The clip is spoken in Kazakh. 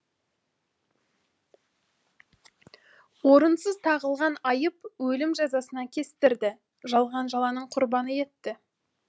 орынсыз тағылған айып өлім жазасына кестірді жалған жаланың құрбаны етті